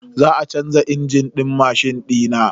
Za a canza injin din mashin dina.